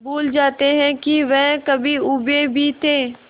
भूल जाते हैं कि वह कभी ऊबे भी थे